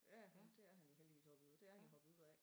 Ja ja men det er han jo heldigvis også videre dét er han jo hoppet ud af